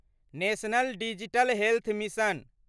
national digital health mission